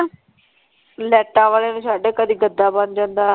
ਲਾਈਟਾਂ ਵਾਲੇ ਨੂੰ ਛੱਡ ਕਦੀ ਗੱਦਾ ਬਣ ਜਾਂਦਾ।